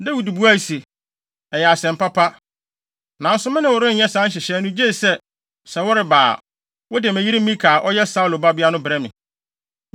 Dawid buae se, “Ɛyɛ asɛm papa, nanso me ne wo renyɛ saa nhyehyɛe no gye sɛ, sɛ woreba a, wode me yere Mikal a ɔyɛ Saulo babea no brɛ me.”